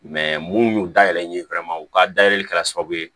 mun y'u dayɛlɛ n ye u ka dayɛlɛ kɛra sababu ye